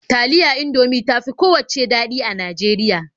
Taliya Indomie ta fi kowacce daɗi a Najeriya.